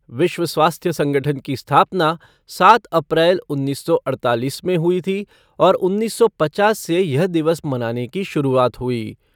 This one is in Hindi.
विश्व स्वास्थ्य संगठन की स्थापना सात अप्रैल उन्नीस सौ अड़तालीस में हुई थी और उन्नीस सौ पचास से यह दिवस मनाने की शुरुआत हुई।